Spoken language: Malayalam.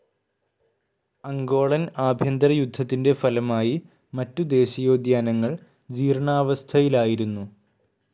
അംഗോളൻ ആഭ്യന്തര യുദ്ധത്തിന്റെ ഫലമായി മറ്റു ദേശീയോദ്യാനങ്ങൾ ജീർണ്ണാവസ്ഥയിലായിരുന്നു.